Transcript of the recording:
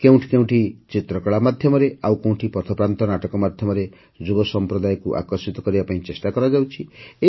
କେଉଁଠି କେଉଁଠି ଚିତ୍ରକଳା ମାଧ୍ୟମରେ ଆଉ କେଉଁଠି ପଥପ୍ରାନ୍ତ ନାଟକ ମାଧ୍ୟମରେ ଯୁବ ସମ୍ପ୍ରଦାୟକୁ ଆକର୍ଷିତ କରିବା ପାଇଁ ଚେଷ୍ଟା କରାଯାଉଛି